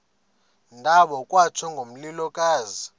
ndawo kwatsho ngomlilokazi